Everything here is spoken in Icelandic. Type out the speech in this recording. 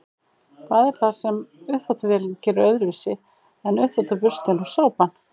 hvað er það sem uppþvottavélin gerir öðruvísi en uppþvottaburstinn og sápan